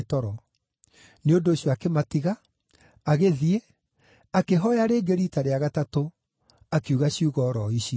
Nĩ ũndũ ũcio akĩmatiga, agĩthiĩ, akĩhooya rĩngĩ riita rĩa gatatũ, akiuga ciugo o ro icio.